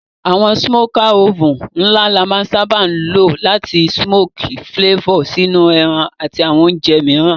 Àwon smoker oven la má n sábá lo làti smoky flavor sínú ẹran àti àwon ounje mìíràn